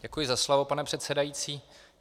Děkuji za slovo, pane předsedající.